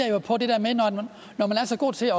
når man er så god til